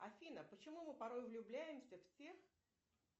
афина почему мы порой влюбляемся в тех